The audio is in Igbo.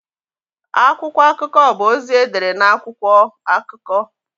Akwụkwọ akụkọ bụ ozi edere na akwụkwọ (akụkọ).